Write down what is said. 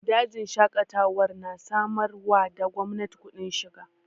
Dajin Shaƙatawar na samar wa da gwamnati kudin shiga